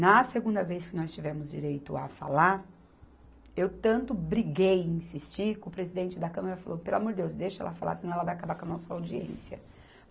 Na segunda vez que nós tivemos direito a falar, eu tanto briguei, insisti, que o presidente da Câmara falou, pelo amor de Deus, deixa ela falar, senão ela vai acabar com a nossa audiência.